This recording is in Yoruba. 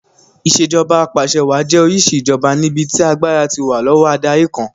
Ìṣèjoba Ap'àṣẹwàá jẹ́ oríṣi ìṣèjoba níbi tí agbára ti wà lọ́wọ́ adarí kan